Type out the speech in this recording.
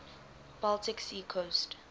baltic sea coast